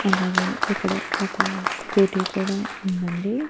అలాగే ఇక్కడ ఒక స్కూటీ కూడా ఉందండి.